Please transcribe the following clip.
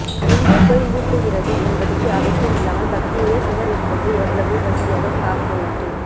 எங்கே போய் முட்டுறது என்பதுக்கு அவசியமில்லாமல் பக்கத்திலேயே சுவர் இருந்தது எவ்வளவு வசதியாகபோயிட்டு